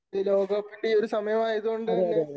ഈ ലോകകപ്പിന്റെ ഈ ഒരു സമയം ആയതു കൊണ്ട് തന്നെ